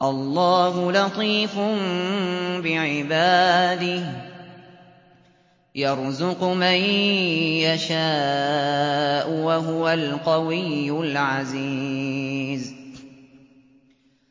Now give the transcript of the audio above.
اللَّهُ لَطِيفٌ بِعِبَادِهِ يَرْزُقُ مَن يَشَاءُ ۖ وَهُوَ الْقَوِيُّ الْعَزِيزُ